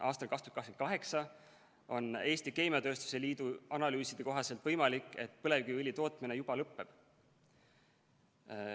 Aastal 2028 on Eesti Keemiatööstuse Liidu analüüside kohaselt võimalik, et põlevkiviõli tootmine juba lõpeb.